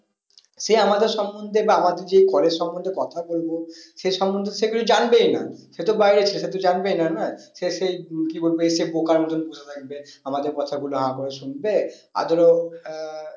সে আমাদের সম্মন্ধে বা আমাদের যে college সম্মন্ধে কথা বলবো সে সম্মন্ধে সে কিছু জানবেই না সে তো বাইরের সে কিছু জানবেই না নয় সে সেই কি বলবো এসে বোকার মতো বসে থাকবে আমাদের কথা গুলো হা করে শুনবে আর ধরো আহ